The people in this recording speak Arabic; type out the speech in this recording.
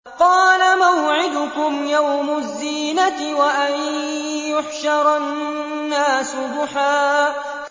قَالَ مَوْعِدُكُمْ يَوْمُ الزِّينَةِ وَأَن يُحْشَرَ النَّاسُ ضُحًى